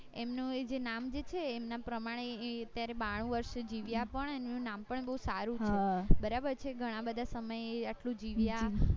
એમનું એ જે નામ જે છે એના પ્રમાણે એ અત્યારે બાણુ વર્ષ જીવ્યા પણ એનું નામ પણ બૌ સારું હતું બરાબર છે ઘણા બધા સમયે આટલું જીવ્યા